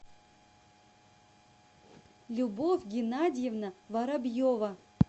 любовь геннадьевна воробьева